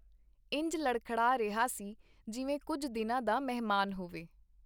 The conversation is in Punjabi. ਇੰਜ ਲੜਖੜਾ ਰਿਹਾ ਸੀ, ਜਿਵੇਂ ਕੁੱਝ ਦਿਨਾਂ ਦਾ ਮਹਿਮਾਨ ਹੋਵੇ.